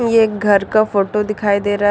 ये एक घर का फोटो दिखाई दे रहा--